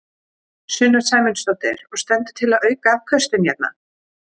Sunna Sæmundsdóttir: Og stendur til að auka afköstin hérna?